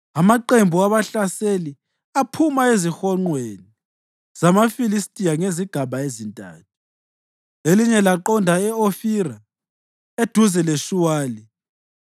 Amaqembu abahlaseli aphuma ezihonqweni zamaFilistiya ngezigaba ezintathu. Elinye laqonda e-Ofira eduze leShuwali,